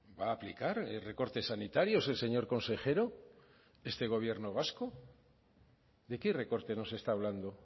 va a aplicar recortes sanitarios el señor consejero de este gobierno vasco de qué recorte nos está hablando